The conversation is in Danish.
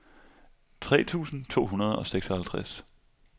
tre tusind to hundrede og seksoghalvtreds